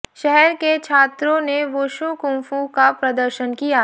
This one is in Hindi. शहर के छात्रों ने वुशु कुंफू का प्रदर्शन किया